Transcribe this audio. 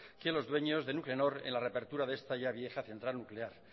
que los dueños de nuclenor en la reapertura de esta ya vieja ya central nuclear